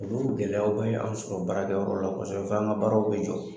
Olu gɛlɛyaw bɛ an sɔrɔ baarakɛ yɔrɔ la kɔsɛbɛ f'an ka baaraw bɛ jɔ!